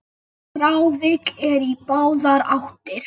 Frávik eru í báðar áttir.